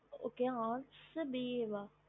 okey bsc ba